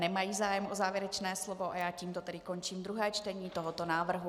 Nemají zájem o závěrečné slovo, a já tedy tímto končím druhé čtení tohoto návrhu.